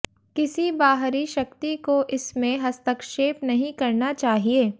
किसी बाहरी शक्ति को इसमें हस्तक्षेप नहीं करना चाहिए